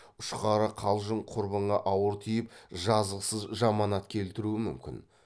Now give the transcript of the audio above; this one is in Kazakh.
ұшқары қалжың құрбыңа ауыр тиіп жазықсыз жаманат келтіруі мүмкін